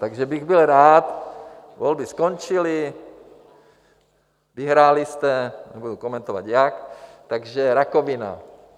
Takže bych byl rád... volby skončily, vyhráli jste, nebudu komentovat jak, takže rakovina.